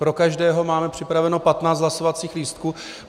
Pro každého máme připraveno 15 hlasovacích lístků.